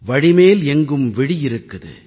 வழிமேல் எங்கும் விழி இருக்குது